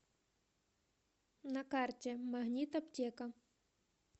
на карте магнит аптека